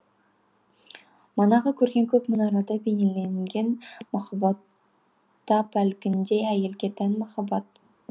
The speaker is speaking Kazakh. манағы көрген көк мұнарада бейнеленген махаббатта әлгіндей әйелге тән махаббат